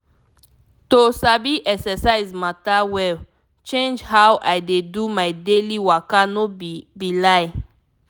to sabi exercise matter well change how i dey do my daily waka no be be lie.